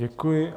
Děkuji.